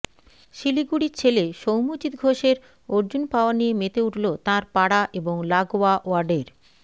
শিলিগুড়ির ছেলে সৌম্যজিৎ ঘোষের অর্জুন পাওয়া নিয়ে মেতে উঠল তাঁর পাড়া এবং লাগোয়া ওয়ার্ডের